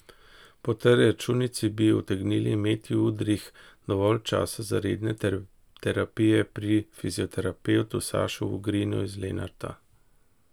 Po tej računici bi utegnil imeti Udrih dovolj časa za redne terapije pri fizioterapevtu Sašu Vogrinu iz Lenarta.